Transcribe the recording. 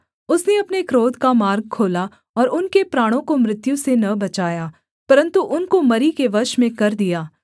उसने अपने क्रोध का मार्ग खोला और उनके प्राणों को मृत्यु से न बचाया परन्तु उनको मरी के वश में कर दिया